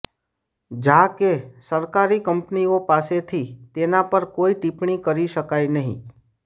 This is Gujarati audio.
જા કે સરકારી કંપનીઓ પાસેથી તેના પર કોઇ ટિપ્પણી કરી શકાય નહીં